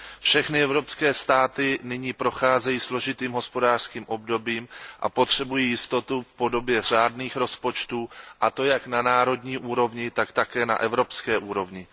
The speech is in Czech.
Všechny evropské státy nyní procházejí složitým hospodářským obdobím a potřebují jistotu v podobě řádných rozpočtů, a to jak na národní úrovni, tak také na evropské úrovni.